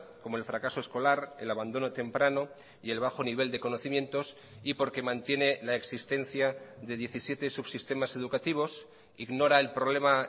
como el fracaso escolar el abandono temprano y el bajo nivel de conocimientos y porque mantiene la existencia de diecisiete subsistemas educativos ignora el problema